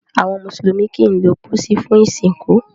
Àwọn mùsùlùmí kìí lo posí fún ìsìnkú